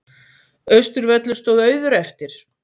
Austurvöllur stóð auður eftir.